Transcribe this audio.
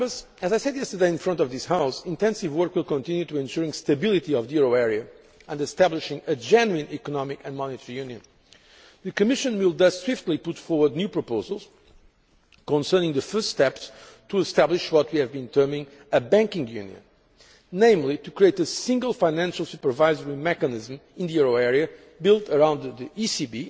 As I said yesterday in front of this House, intensive work will continue towards ensuring stability of the euro area and establishing a genuine economic and monetary union. The Commission will thus swiftly put forward new proposals concerning the first steps to establish what we have been terming a banking union', namely to create a single financial supervisory mechanism in the euro area, built around the